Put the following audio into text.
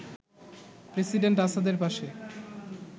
president আসাদের পাশে